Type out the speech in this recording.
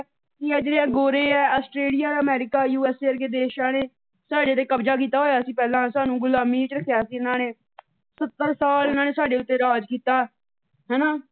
ਕਿ ਆਹ ਜਿਹੜੇ ਗੋਰੇ ਆ Australia, America U S A ਵਰਗੇ ਦੇਸ਼ਾਂ ਨੇ ਸਾਡੇ ਤੇ ਕਬਜਾ ਕੀਤਾ ਹੋਇਆ ਸੀ ਪਹਿਲਾ ਸਾਨੂੰ ਗੁਲਾਮੀ ਵਿੱਚ ਰੱਖਿਆ ਸੀ ਇਹਨਾਂ ਨੇ। ਸੱਤਰ ਸਾਲ ਇਹਨਾ ਨੇ ਸਾਡੇ ਉੱਤੇ ਰਾਜ ਕੀਤਾ । ਹੈ ਨਾ।